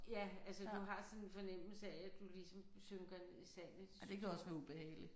Ja altså du har sådan en fornemmelse af at du ligesom synker ned i sandet det synes jeg